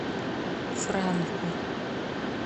франку